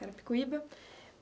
Carapicuíba.